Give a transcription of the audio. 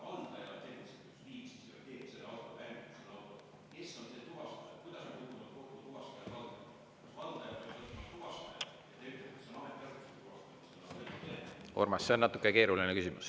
Urmas, see on natuke keeruline küsimus.